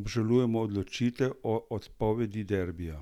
"Obžalujemo odločitev o odpovedi derbija.